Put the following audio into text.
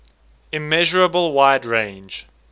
immeasurable wide range